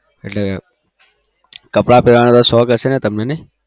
એટલે કપડા પેરવાનો શોક હશે તમને